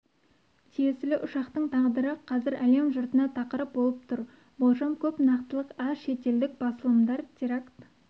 тиесілі ұшақтың тағдыры қазір әлем жұртына тақырып болып тұр болжам көп нақытылық аз шетелдік басылымдар теракт